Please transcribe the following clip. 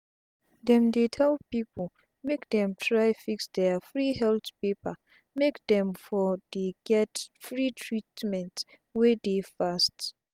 dem dey tell pipu make dem try fix dia free health paper make dem for dey get free treatment wey dey fast